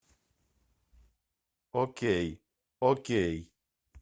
окей окей